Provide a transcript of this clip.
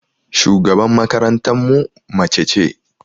Shugaban makarantan mu mace ce.